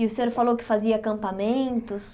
E o senhor falou que fazia acampamentos.